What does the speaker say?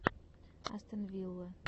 астон вилла